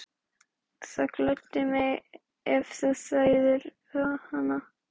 Það gleddi mig, ef þú þæðir hana